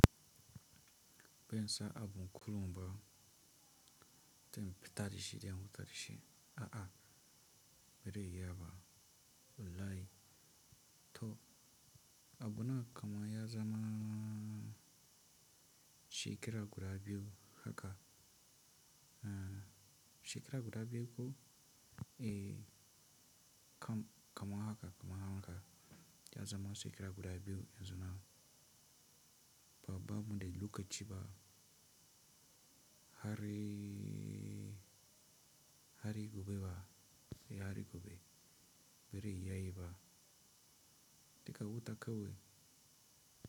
Bensa abu kullum ba, zan fita da shi zan wanka da shi. A'a, bere iya ba, wallahi. To abu na kama ya zama shekara guda biyu haka. Eh, shekara guda biyu ko? Eh, kaman haka, kaman haka ya zama shekaraguda biyu yanzu nan. Baba mu dai lokaci ba, har ee, har yayi gobe ba, sai har yayi gobe. Bere ya iya ba, dika wuta kawai.